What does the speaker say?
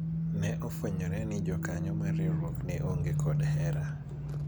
ne ofwenyore ni jokanyo mar riwruok ne onge kod hera